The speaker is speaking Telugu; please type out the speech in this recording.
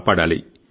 సజీవంగా ఉంచాలి